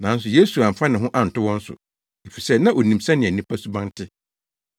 Nanso Yesu amfa ne ho anto wɔn so, efisɛ na onim sɛnea nnipa suban te.